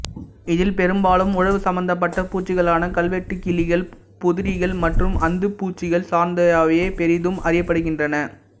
இதில் பெரும்பாலும் உழவு சம்பந்தப்பட்ட பூச்சிகளான கல்வெட்டுக்கிளிகள் புதரீக்கள் மற்றும் அந்துப்பூச்சிகள் சார்ந்தவையே பெறிதும் அறியப்படுகின்றன